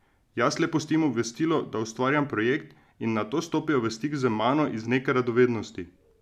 Jaz le pustim obvestilo, da ustvarjam projekt, in nato stopijo v stik z mano iz neke radovednosti.